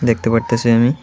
দেখতে পারতাছি আমি--